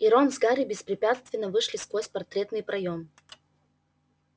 и рон с гарри беспрепятственно вышли сквозь портретный проём